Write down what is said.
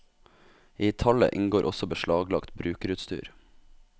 I tallet inngår også beslaglagt brukerutstyr.